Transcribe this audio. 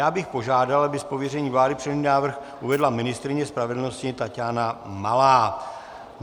Já bych požádal, aby z pověření vlády předložený návrh uvedla ministryně spravedlnosti Taťána Malá.